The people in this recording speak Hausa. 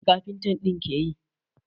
Mai kaftin ɗin ke yi?